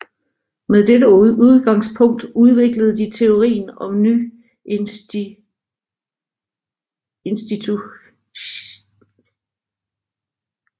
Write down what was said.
Med dette udgangspunkt udviklede de teorien om nyinstitutionalismen